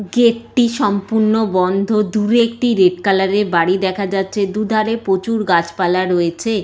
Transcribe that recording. Gate -টি সম্পূর্ণ বন্ধ দূরে একটি রেড কালার -এর বাড়ি দেখা যাচ্ছে দুধারে প্রচুর গাছপালা রয়েছে।